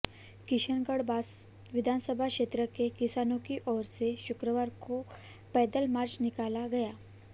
किशनगढ़ बास विधानसभा क्षेत्र के किसानों की ओर से शुक्रवार को पैदल मार्च निकाला गया